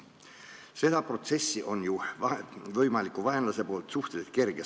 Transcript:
Seda protsessi on ju vaenlasel võimalik suhteliselt kergesti segada.